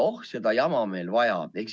Oh, seda jama meil veel vaja!